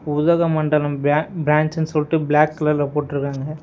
உதகமண்டலம் பிர பிரான்ச்னு சொல்லிட்டு பிளாக் கலர்ல போட்டிருக்காங்க.